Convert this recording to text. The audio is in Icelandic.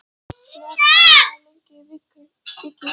Leópold, hvað er opið lengi í Vikivaka?